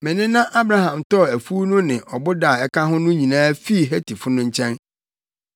Me nena Abraham tɔɔ afuw no ne ɔboda a ɛka ho no nyinaa fii Hetifo no nkyɛn.”